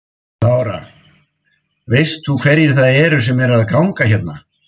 Lára: Veist þú hverjir það eru sem eru að ganga hérna?